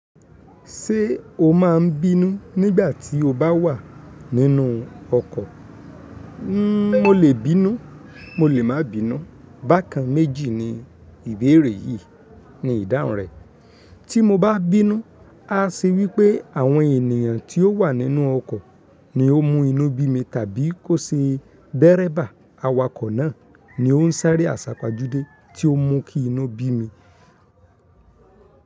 Ṣé o má a n bínú nígbà tí o bá wà nínú ọkọ̀? N mo lè bínú, mo lè má bínú, bákan méjì ni ìbéèrè yìí ní ìdáhùn rẹ̀. Tí mo bá bínú, á ṣe wípé àwọn ènìyàn tí ó wà nínú ọkọ̀ ni ó mú inú bí mi tàbí kó ṣe dẹ́ẹrẹ́bà, awakọ̀ náà ni ó ń sáré àsàpajúdé tí ó mú kí inú bí mi.